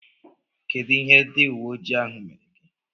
Kedụ ihe ndị uweojii ahụ mere gị?